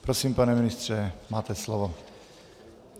Prosím, pane ministře, máte slovo.